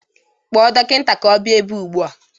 Kpọọ dọkịta ka ọ bịa ebe a ụgbụa!